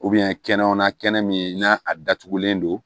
kɛnɛmana kɛnɛ min n'a datugulen don